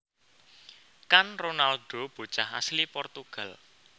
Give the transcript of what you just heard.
Kan Ronaldo bocah asli Portugal